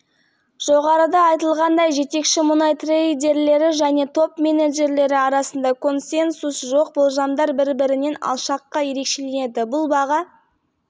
мәселен мұнай бөлімшесінің басшысы алекс бирд конференциясының модераторының тиісті сұрағына жауап бере отырып жылы мұнайдың орташа